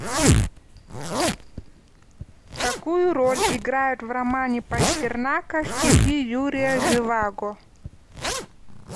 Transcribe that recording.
какую роль играют в романе пастернака стихи юрия живаго